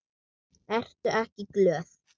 Ertu ekki glöð?